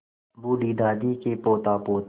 बूढ़ी दादी के पोतापोती